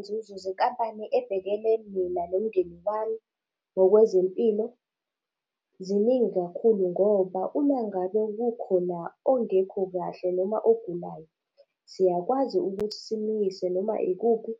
Izinzuzo zenkampani ebhekele mina nomndeni wami ngokwezempilo, ziningi kakhulu ngoba, umangabe kukhona ongekho kahle, noma ogulayo, siyakwazi ukuthi simiyise noma ikuphi,